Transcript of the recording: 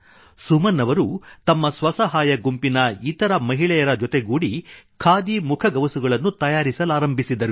ಸುಮನ್ ಅವರು ತಮ್ಮ ಸ್ವಸಹಾಯ ಗುಂಪಿನ ಇತರ ಮಹಿಳೆಯರೊಡಗೂಡಿ ಖಾದಿ ಮುಖಗವಸುಗಳನ್ನು ತಯಾರಿಸಲಾರಂಭಿಸಿದರು